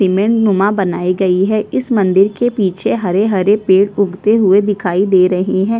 Cement नुमा बनाई गयी है इस मंदिर के पीछे हरे - हरे उगते हुए दिखाई दे रहे है।